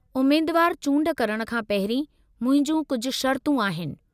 उम्मेदवारु चूंड करणु खां पहिरीं मुंहिंजी कुझ शर्तूं आहिनि।